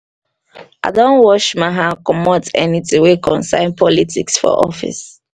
i don wash my hand comot anytin wey concern politics for office.